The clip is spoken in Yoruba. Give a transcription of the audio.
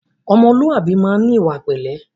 Ọmọlúwàbí máa ń ní ìwà pẹ̀lẹ́